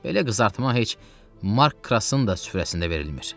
Belə qızartma heç Mark Krasın da süfrəsində verilmir.